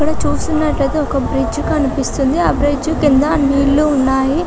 ఇక్కడ చూసినట్టు అయితే ఒక బ్రిడ్జ్ కనిపిస్తుంది ఆ బ్రిడ్జ్ కింద నీళ్లు ఉన్నాయి .